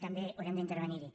també haurem d’intervenir hi